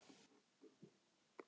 Allt er gott í hófi.